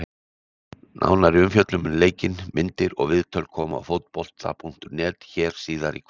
Nánari umfjöllun um leikinn, myndir og viðtöl koma á Fótbolta.net hér síðar í kvöld.